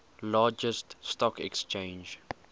largest stock exchange